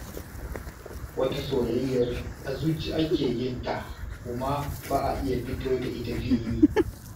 Wata soyyayyar a zuci ake yinta kuma ba a iya fito da ita fili.